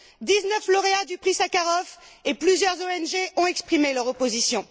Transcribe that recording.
Dix neuf lauréats du Prix Sakharov et plusieurs ONG ont exprimé leur opposition.